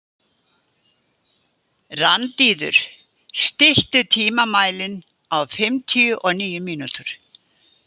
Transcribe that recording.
Randíður, stilltu tímamælinn á fimmtíu og níu mínútur.